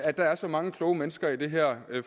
at der er så mange kloge mennesker i det her